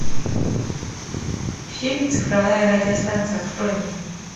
фильм цифровая радиостанция открой мне